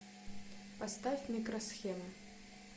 поставь микросхема